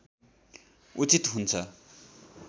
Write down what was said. उचित हुन्छ